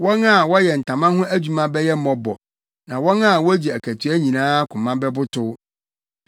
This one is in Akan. Wɔn a wɔyɛ ntama ho adwuma bɛyɛ mmɔbɔ na wɔn a wogye akatua nyinaa koma bɛbotow.